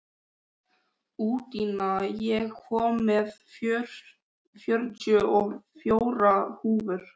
Úndína, ég kom með fjörutíu og fjórar húfur!